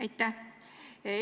Aitäh!